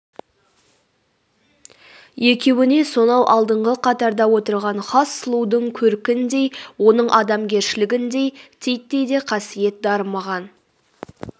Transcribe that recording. екеуіне сонау алдыңғы қатарда отырғн хас сұлудың көркіндей оның адамгершілігіндей титтей де қасиет дарымаған